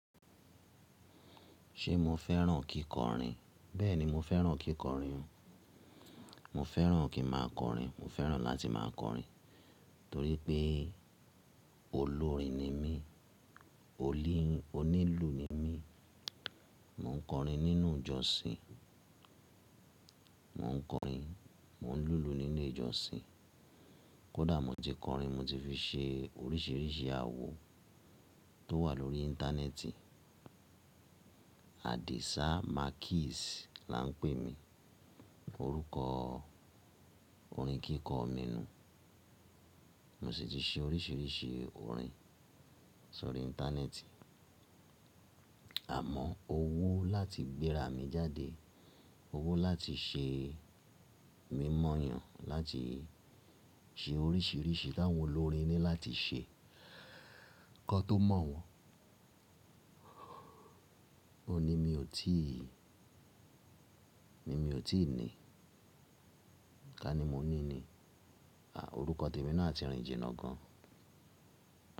Ṣe mo fẹ́ràn kíkọrin? Bẹ́ẹ̀ni, mo fẹ́ràn kíkọrin. Mo fẹ́ràn kí máa kọrin, mo fẹ́ràn láti máa kọrin torí pé olórin ni mí, onílù ni mí. Mò ń kọrin nínú ìjọsìn, mò ń kọrin, mò ń lùlù nínú ìjọsìn. Kódà mo ti kọrin, mo ti fi ṣe oríṣiríṣi àwo tó wà lórí Íńtánẹ́ẹ̀tì. Adésá Makis là ń pè mí, orúkọ orin kíkọ mi nu. Mo sì ti ṣe oríṣiríṣi orin sórí Íńtánẹ́ẹ̀tì. Àmọ́ owó láti gbéra mi jáde, owó láti ṣe mímọ̀ yàn, láti ṣe oríṣiríṣi tí àwọn olórin ní láti ṣe, k'ọ́n tó mọ̀ wọ́n, òun ní mi ò tí ì, ní mi ò tí ì ní. Kání ni mo ní ni, à, orúkọ tèmi náà a ti rìn jìnnà gan.